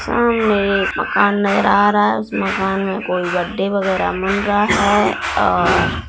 सामने एक मकान नजर आ रहा है उस मकान में कोई गड्ढे वगैरा बन रहा है और--